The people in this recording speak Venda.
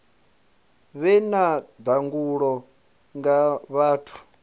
vhe na ndangulo nga vhathu